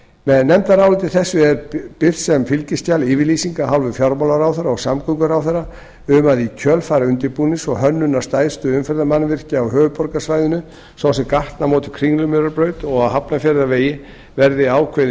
með nefndaráliti þessu er birt sem fylgiskjal yfirlýsing af hálfu fjármálaráðherra og samgönguráðherra um að í kjölfar undirbúnings og hönnunar stærstu umferðarmannvirkjanna á höfuðborgarsvæðinu svo sem gatnamóta við kringlumýrarbraut og á hafnarfjarðarvegi verði ákveðin